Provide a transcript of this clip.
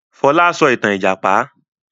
Fọlá sọ ìtàn ìjàpá!